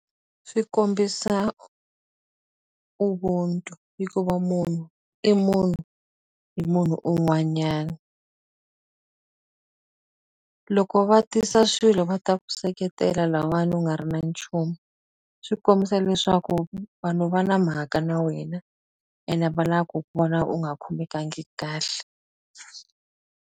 Swi kombisa Ubuntu hikuva munhu i munhu hi munhu un'wanyana loko va tisa swilo va ta ku seketela lahawani u nga ri na nchumu swi kombisa leswaku vanhu va na mhaka na wena ene a va lavi ku ku vona u nga khomekangi kahle.